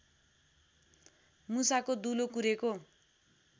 मुसाको दुलो कुरेको